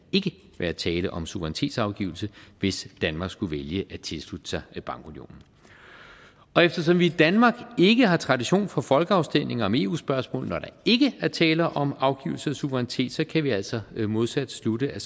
være tale om suverænitetsafgivelse hvis danmark skulle vælge at tilslutte sig bankunionen og eftersom vi i danmark ikke har tradition for folkeafstemninger om eu spørgsmål når der ikke er tale om afgivelse af suverænitet så kan vi altså modsat slutte at